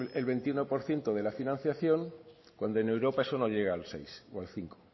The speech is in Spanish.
el veintiuno por ciento de la financiación cuando en europa eso no llega al seis o al cinco